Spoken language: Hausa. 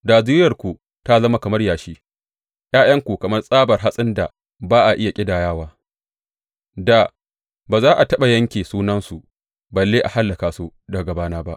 Da zuriyarku ta zama kamar yashi, ’ya’yanku kamar tsabar hatsin da ba a iya ƙidayawa; da ba za a taɓa yanke sunansu balle a hallaka su daga gabana ba.